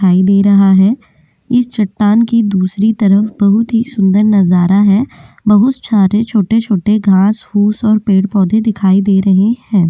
दिखाई दे रहा है इस चट्टान की दूसरी तरफ बहुत ही सुंदर नजारा है बहुत सारे छोटे-छोटे घास फूस और पेड़-पौधे दिखाई दे रहे हैं।